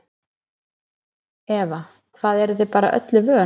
Eva: Hvað eruð þið bara öllu vön?